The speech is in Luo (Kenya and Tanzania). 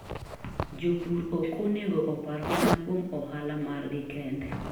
Jopur ok onego opar mana kuom ohala margi kende.